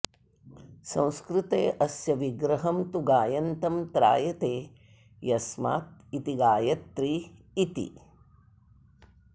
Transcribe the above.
संस्कृते अस्य विग्रहं तु गायन्तं त्रायते यस्मात् इति गायत्री इति